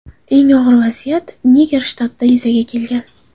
Eng og‘ir vaziyat Niger shtatida yuzaga kelgan.